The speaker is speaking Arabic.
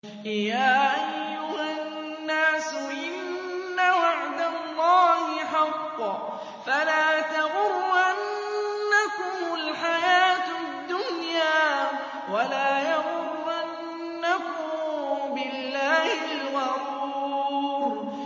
يَا أَيُّهَا النَّاسُ إِنَّ وَعْدَ اللَّهِ حَقٌّ ۖ فَلَا تَغُرَّنَّكُمُ الْحَيَاةُ الدُّنْيَا ۖ وَلَا يَغُرَّنَّكُم بِاللَّهِ الْغَرُورُ